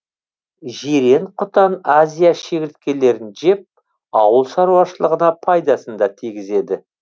жирен құтан азия шегірткелерін жеп ауыл шаруашылығына пайдасын да тигізеді